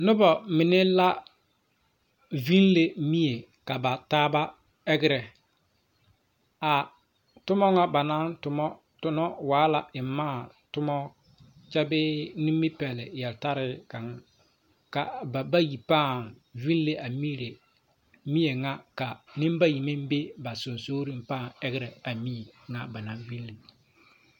Nobɔ mine la viŋle mie ka ba taaba ɛgerɛ a tomma ŋa ba naŋ tonnɔ waa la eŋ mãã tommɔ kyɛ bee Nimipɛle yeltarre kaŋ ka ba bayi pãã viŋle a miri mie ŋa ka neŋbayi meŋ be ba seŋsugliŋ pãã ɛgra a mie ŋa ba naŋ viŋle.